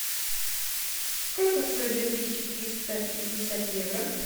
сколько стоит две тысячи триста пятьдесят евро